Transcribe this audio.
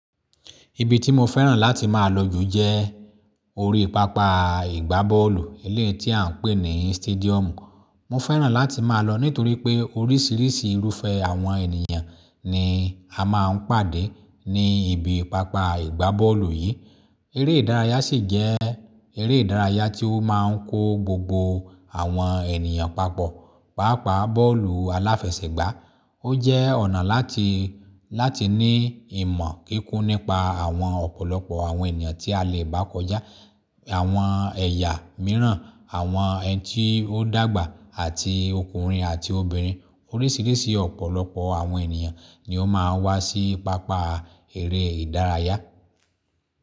Ibi tí mo fẹ́ràn láti máa lọ jù jẹ́ orí pápá ìgbábọ́ọ̀lù ilẹ̀ tí à ń pè ní stadium. Mo fẹ́ràn láti máa lọ nítorí pé oríṣiríṣi irúfẹ́ àwọn ènìyàn ni a máà ń pàdé ní ibi pápá ìgbábọ́ọ̀lù yìí. Eré ìdárayá ṣì jẹ́ eré ìdárayá tí ó máà ń kó gbogbo àwọn ènìyàn papọ̀. Páápàá bọ́ọ̀lù aláfẹsẹ̀gbá, ó jẹ́ ọ̀nà láti, láti ní ìmọ̀ kíkún nípa àwọn ọ̀pọ̀lọpọ̀ àwọn ènìyàn tí a lè bá kọjá, àwọn ẹ̀yà mìíràn, àwọn ẹni tí ó dàgbà àti ọkùnrin àti obìnrin. Oríṣiríṣi ọ̀pọ̀lọpọ̀ àwọn ènìyàn ni ó máa ń wá sí ipápá eré ìdárayá.